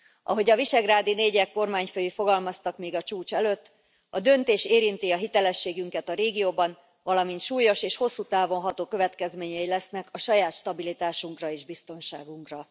Ahogy a visegrádi négyek kormányfői fogalmaztak még a csúcs előtt a döntés érinti a hitelességünket a régióban, valamint súlyos és hosszú távon ható következményei lesznek a saját stabilitásunkra és biztonságunkra.